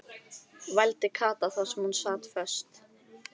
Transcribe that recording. vældi Kata þar sem hún sat föst.